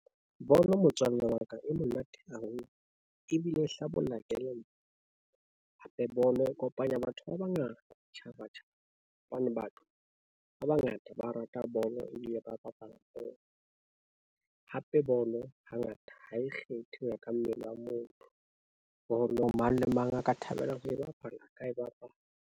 Bolo motswalle wa ka, e monate haholo ebile hlabolla kelello. Hape bolo e kopanya batho ba bangata, ditjhabatjhaba hobane batho ba bangata ba rata bolo ebile ba bapala bolo. Hape bolo hangata ha e kgethe ho ya ka mmele wa motho, bolo mang le mang a ka thabelang ho e bapala a ka e bapala.